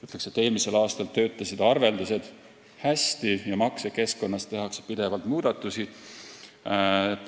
Ütleks, et eelmisel aastal töötasid arveldused hästi ja maksekeskkonnas tehakse pidevalt muudatusi.